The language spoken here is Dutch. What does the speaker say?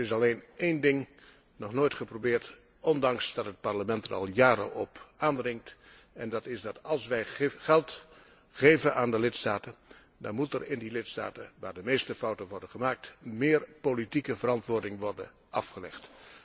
Er is alleen een ding nog nooit geprobeerd, ondanks dat het Parlement er al jaren op aandringt, en dat is dat als wij geld geven aan de lidstaten, dan moet er in de lidstaten waar de meeste fouten worden gemaakt meer politieke verantwoording worden afgelegd.